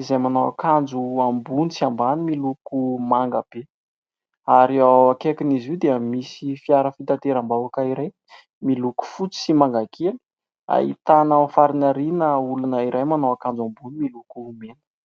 izay manao annkajo ambony sy ambany miloko manga be. Ary eo akaikin'izy io dia misy fiara fitateram-bahoaka iray, miloko fotsy sy manga kely ; ahitana ao amin'ny farany aoriana, misy olona iray manao akanjo ambony miloko mena.